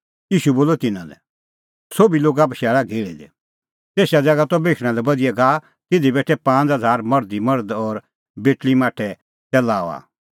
ईशू बोलअ तिन्नां लै सोभी लोगा बशैल़ा घेहल़ी दी तेसा ज़ैगा त बेशणा लै बधिया घाहा तिधी बेठै पांज़ हज़ार मर्ध ई मर्ध और बेटल़ी माठै तै लाऊआ